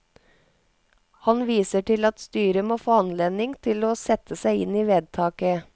Han viser til at styret må få anledning til å sette seg inn i vedtaket.